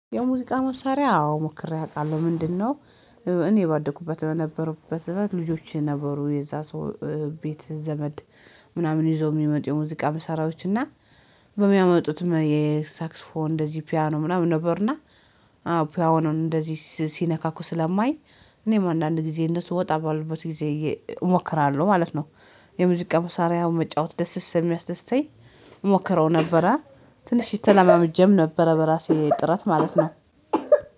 የሙዚቃ መሳሪያ አዎ ሞክሬ አውቃለሁ ምንድነው? እኔ ባደኩበት በነበሩበት ልጆች ነበሩ የዛ ሰው ቤት ዘመድ ምናምን ይዞ የሚመጡ የሙዚቃ መሳራዎች እና በሚያመጡትም የሳክስፎን እንደዚህ ፒያኖ ምናምን ነበርና። አዎ ፒያኖን እንደዚህ ሲነካኩ ስለማይኝ እኔም አንዳንድ ጊዜ እነሱ ወጣ ባሉበት ጊዜ እሞክራለሁ ማለት ነው። የሙዚቃ ሙሳሪያ መጫወት ደስ ስለሚያስደስተኝ እሞክረው ነበረ። ትንሽ ተላማምጄም ነበር በራሴ ጥረት ማለት ነው።